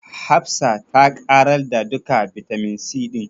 Hafsa ta ƙarar da duka bitamin C ɗin.